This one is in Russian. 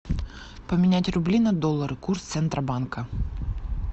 поменять рубли на доллары курс центробанка